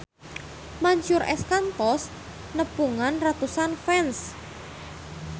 Mansyur S kantos nepungan ratusan fans